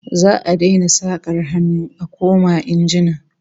Za'a daina sakar hannu a koma injina